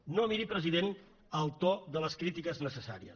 no miri president el to de les crítiques necessàries